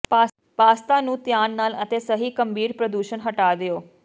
pasta ਨੂੰ ਧਿਆਨ ਨਾਲ ਅਤੇ ਸਹੀ ਗੰਭੀਰ ਪ੍ਰਦੂਸ਼ਣ ਹਟਾ ਦਿਓ